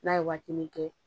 N'a ye waatini kɛ.